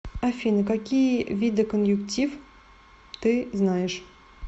афина какие виды конъюнктив ты знаешь